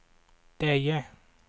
Deje